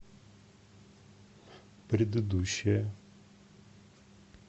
предыдущая